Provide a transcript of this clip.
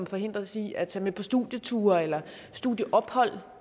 forhindres i at tage med på studieture eller studieophold